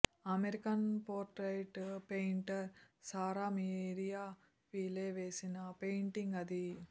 American portrait painter Sarah Miriam Peale వేసిన painting అది